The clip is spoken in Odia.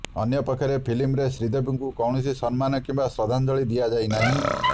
ଅନ୍ୟପକ୍ଷରେ ଫିଲ୍ମରେ ଶ୍ରୀଦେବୀଙ୍କୁ କୌଣସି ସମ୍ମାନ କିମ୍ବା ଶ୍ରଦ୍ଧାଞ୍ଜଳି ଦିଆଯାଇନାହିଁ